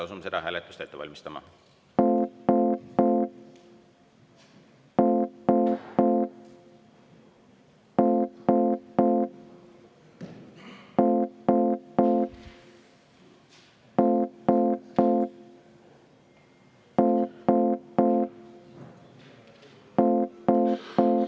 Asume seda hääletust ette valmistama.